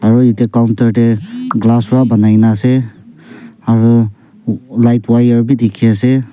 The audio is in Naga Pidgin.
Aro etu counter dae glass pra banaina ase aro lightwire bhi dekhe ase.